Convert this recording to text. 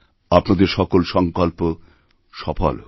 আপনাদের সকল সংকল্প সফল হোক